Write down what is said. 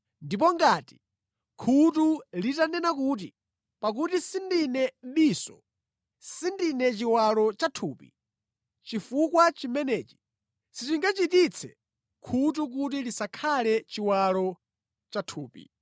Ndipo ngati khutu litanena kuti, “Pakuti sindine diso, sindine chiwalo cha thupi.” Chifukwa chimenechi sichingachititse khutu kuti lisakhale chiwalo cha thupi.